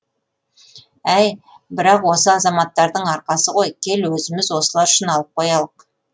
әй бірақ осы азаматтардың арқасы ғой кел өзіміз осылар үшін алып қоялық